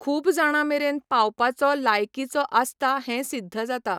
खूब जाणां मेरेन पावपाचो लायकीचो आसता हें सिद्ध जाता.